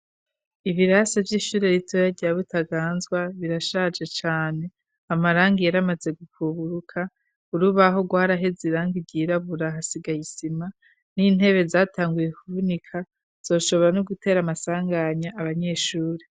Ibirasi vy'ishure ritoya rya Butaganzwa birashaje cane. Amarangi yaramaze gukuburuka, urubaho rwaraheze irangi ryirabura, hasigaye isima n'intebe zatanguye kuvunika, zoshobora no gutera amasanganya abanyeshure.